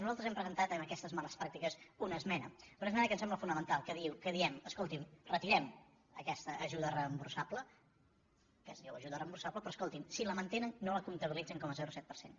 nosaltres hem presentat en aquestes males pràctiques una esmena una esmena que em sembla fonamental que diem escoltin retirem aquesta ajuda reemborsable que es diu ajuda reemborsable però escotin si la mantenen no la comptabilitzin com a zero coma set per cent